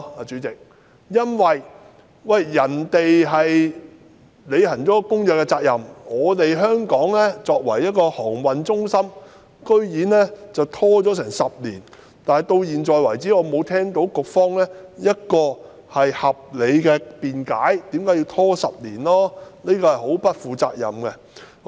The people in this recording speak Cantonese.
主席，世界其他地方履行了《公約》的責任，但香港作為航運中心，居然拖延10年，而局方至今尚未給予合理解釋，我認為這很不負責任。